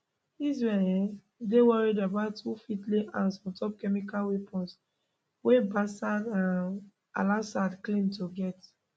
israel um dey worry about who fit lay hands ontop chemical weapons wey bashar um alassad claim to get